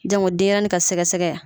Jango denɲɛrɛnin ka sɛgɛsɛgɛ